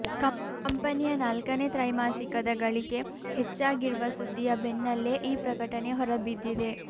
ಕಂಪನಿಯ ನಾಲ್ಕನೇ ತ್ರೈಮಾಸಿಕದ ಗಳಿಕೆ ಹೆಚ್ಚಾಗಿರುವ ಸುದ್ದಿಯ ಬೆನ್ನಲೇ ಈ ಪ್ರಕಟನೆ ಹೊರಬಿದ್ದಿದೆ